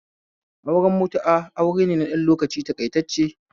Auren mutu'a aure ne ɗan lokaci taƙaitacce